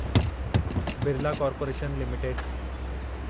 Birla corporation limited